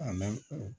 A na